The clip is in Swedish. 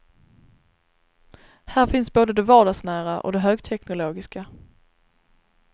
Här finns både det vardagsnära och det högteknologiska.